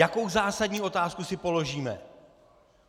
Jakou zásadní otázku si položíme?